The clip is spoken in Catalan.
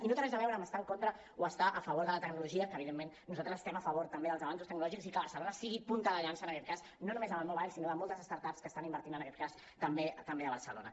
i no té res a veure amb estar en contra o estar a favor de la tecnologia que evidentment nosaltres estem a favor també dels avanços tecnològics i que barcelona sigui punta de llança en aquest cas no només amb el mobile sinó de moltes start ups que estan invertint en aquest cas també a barcelona